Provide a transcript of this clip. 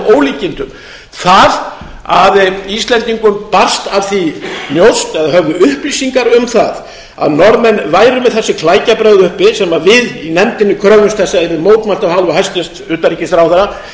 ólíkindum það að íslendingum barst af því njósn eða höfðu upplýsingar um það að norðmenn væru með þessi klækjabrögð uppi sem við í nefndinni kröfðumst þess að yrði mótmælt af hálfu hæstvirts utanríkisráðherra